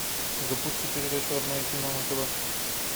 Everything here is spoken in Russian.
запусти передачу родное кино на тв